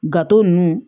Gato nunnu